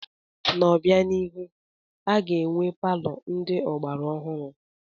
N'obianihu, a ga-enwe palọ ndị ọgbara ọhụrụ.